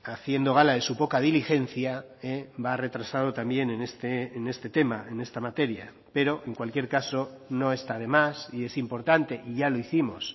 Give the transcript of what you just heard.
haciendo gala de su poca diligencia va retrasado también en este tema en esta materia pero en cualquier caso no está demás y es importante y ya lo hicimos